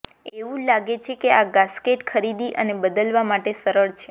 એવું લાગે છે કે આ ગાસ્કેટ ખરીદી અને બદલવા માટે સરળ છે